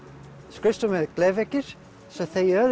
skrifstofu við glerveggi þau